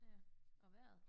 Ja og vejret